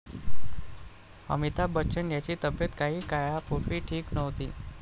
अमिताभ बच्चन यांची तब्येत काही काळापूर्वी ठीक नव्हती.